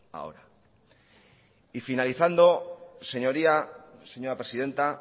ahora y finalizando señoría señora presidenta